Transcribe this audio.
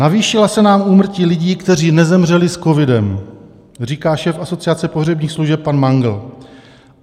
Navýšila se nám úmrtí lidí, kteří nezemřeli s covidem, říká šéf Asociace pohřebních služeb pan Mangl.